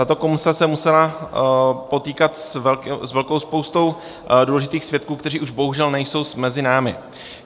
Tato komise se musela potýkat s velkou spoustou důležitých svědků, kteří už bohužel nejsou mezi námi.